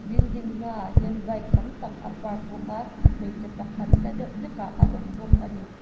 building hmaah hian bike tam tak a park bawk a hmeichhe pakhat hla deuh hlekah a awm bawk a ni.